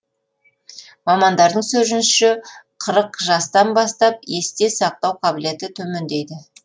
мамандардың сөзінше қырық жастан бастап есте сақтау қабілеті төмендейді